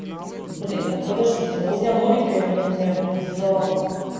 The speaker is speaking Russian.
блин ну подождите ну вот я новенькая я б например задала бы